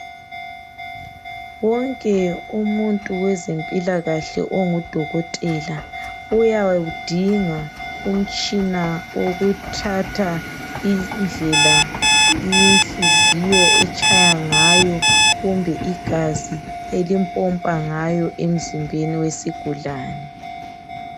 Wonke umuntu wezempilakahle ongudokotela uyawudinga umtshina wokuthatha indlela inhliziyo etshaya ngayo kumbe igazi elimpompa ngayo emzimbeni wesigulane.